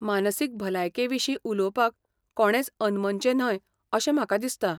मानसीक भलायके विशीं उलोवपाक कोणेंच अनमनचें न्हय अशें म्हाका दिसता.